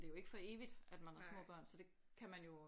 Det er jo ikke for evigt at man har små børn så det kan man jo